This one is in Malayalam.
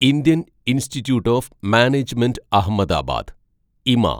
Indian institute of management Ahmedabad (ഇമ)